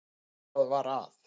Hvað var að?